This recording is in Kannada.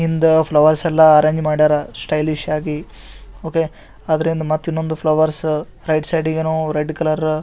ಹಿಂದ ಫ್ಲವರ್ಸ್ ಎಲ್ಲ ಅರೆಂಜ್ ಮಾಡ್ಯಾರ ಸ್ಟೈಲಿಶ್ ಆಗಿ ಓಕೆ ಅದರಿಂದ ಮತ್ ಇನ್ನೊಂದ್ flowers right side red colour .